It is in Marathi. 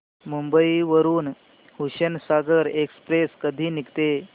मुंबई वरून हुसेनसागर एक्सप्रेस कधी निघते